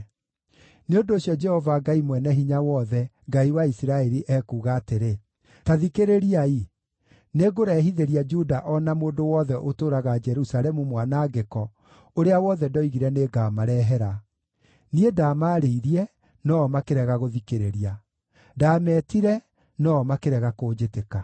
“Nĩ ũndũ ũcio, Jehova Ngai Mwene-Hinya-Wothe, Ngai wa Isiraeli, ekuuga atĩrĩ: ‘Ta thikĩrĩriai! Nĩngũrehithĩria Juda o na mũndũ wothe ũtũũraga Jerusalemu mwanangĩko ũrĩa wothe ndoigire nĩngamarehere. Niĩ ndaamaarĩirie, no-o makĩrega gũthikĩrĩria; ndaametire no-o makĩrega kũnjĩtĩka.’ ”